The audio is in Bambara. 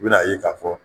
I bɛna ye k'a fɔ